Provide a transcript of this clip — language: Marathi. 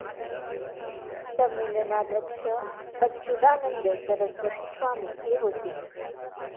संमेलनाध्यक्ष अच्चूदानंद सरस्वती स्वामी हे होते.